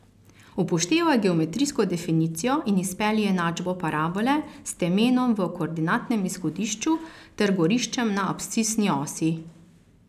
Upoštevaj geometrijsko definicijo in izpelji enačbo parabole s temenom v koordinatnem izhodišču ter goriščem na abscisni osi.